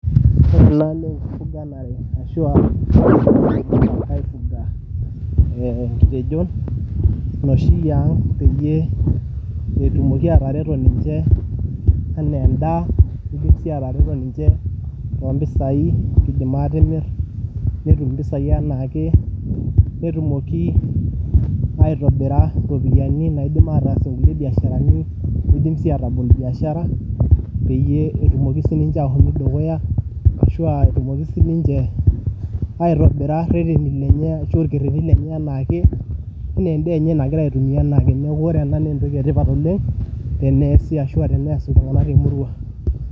Ore naa ale naa nkifuganare ashu aifuga inkitejo noshiyaa peyie etumoki atereto ninche enaa endaa, neidim sii atareto ninche too mpisaii eidimi aatimir netum mpisaau anaake netumoki aitobira iropiyiani naidim ataasie nkule biasharani neidim si aatabol biashara peyie etumoki sii niche atii dukuta ashu aatumoki sii niche aitobira reteni nenye ashu ilkereti lenye anaake enaa embae enye nagira ninye aitumiya naa teneaku naaentoki etipat oleng teneaasi ashu entoki eteneas ltunganak te murua.